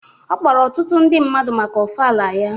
Ọ kpọrọ ọtụtụ ndị mmadụ maka ofala ya.